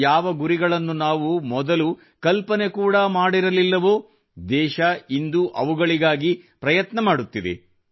ಯಾವ ಗುರಿಗಳನ್ನು ನಾವು ಮೊದಲು ಕಲ್ಪನೆ ಕೂಡಾ ಮಾಡಿರಲಿಲ್ಲವೋ ದೇಶ ಇಂದು ಅವುಗಳಿಗಾಗಿ ಪ್ರಯತ್ನ ಮಾಡುತ್ತಿದೆ